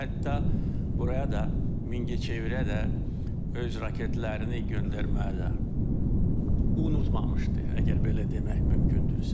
Hətta buraya da Mingəçevirə də öz raketlərini göndərmədə unutmamışdı, əgər belə demək mümkündürsə.